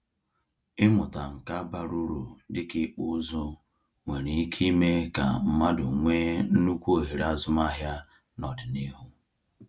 Ịmụta nka bara uru dịka ịkpụ ụzụ nwere ike ime ka mmadụ nwee nnukwu ohere azụmahịa n’ọdịnihu.